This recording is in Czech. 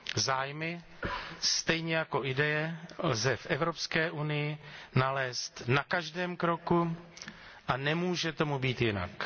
Zájmy, stejně jako ideje lze v Evropské unii nalézt na každém kroku a nemůže tomu být jinak.